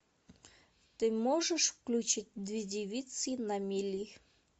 ты можешь включить две девицы на мели